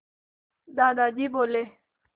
दादाजी बोले